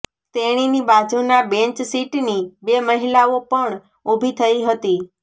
તેણીની બાજુના બેન્ચ સીટની બે મહિલાઓ પણ ઉભી થઇ હતી